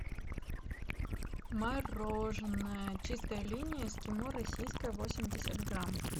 мороженое чистая линия эскимо российское восемьдесят грамм